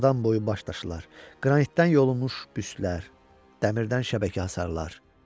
Adam boyu baş daşılar, qranitdən yolunmuş büstlər, dəmdən şəbəkə hasarlar.